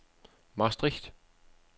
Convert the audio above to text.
Maastricht